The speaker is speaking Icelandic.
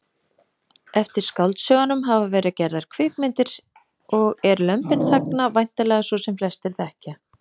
Eftir skáldsögunum hafa verið gerðar kvikmyndir og er Lömbin þagna væntanlega sú sem flestir þekkja.